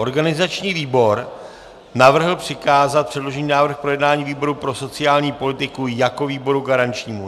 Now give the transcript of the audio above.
Organizační výbor navrhl přikázat předložený návrh k projednání výboru pro sociální politiku jako výboru garančnímu.